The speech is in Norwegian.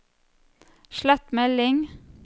slett melding